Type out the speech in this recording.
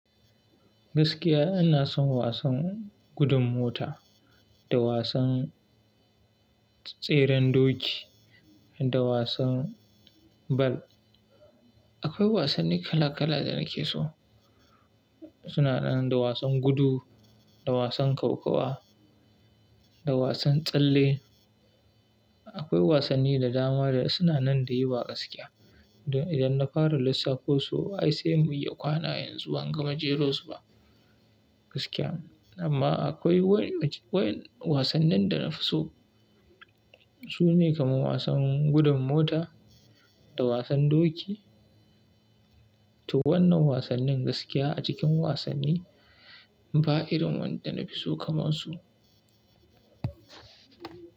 Gaskiya ina son wasan gudun mota da wasan tseren doki da wasan bal. Akwai wasanni kala kala da nake so. Suna nan da wasan gudu, da wasan kokawa, da wasan tsalle. Akwai wasanni da dama da suna nan da yawa gaskiya. Idan na fara lissafo su ai sai mu iya kwana yanzu ban gama jero su ba gaskiya. Amma akwai wasannin da na fi so sune kamar wasan gudun mota da wasan doki. Toh wannan wasannin gaskiya a cikin wasanni ba irin wanda na fi so kamar su.